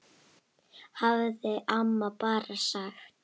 hafði amma bara sagt.